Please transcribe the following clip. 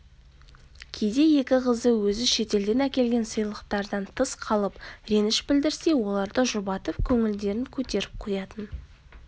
кейде екі қызы өзі шетелден әкелген сыйлықтардан тыс қалып реніш білдірсе оларды жұбатып көңілдерін көтеріп қоятын